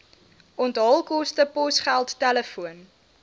onthaalkoste posgeld telefoon